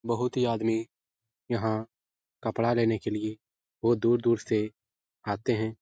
बहुत ही आदमी यहाँ कपड़ा लेने के लिए बहुत दूर-दूर से आते हैं।